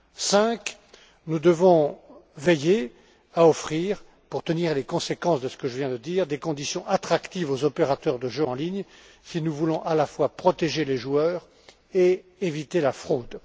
Cinquièmement, nous devons veiller à offrir, pour tenir les conséquences de ce que je viens de dire, des conditions attractives aux opérateurs de jeux en ligne, si nous voulons à la fois protéger les joueurs et éviter la fraude.